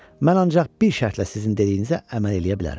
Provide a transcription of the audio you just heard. mən ancaq bir şərtlə sizin dediyinizə əməl eləyə bilərəm."